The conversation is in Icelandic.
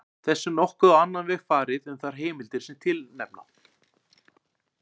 Þessu er nokkuð á annan veg farið um þær heimildir sem tilnefna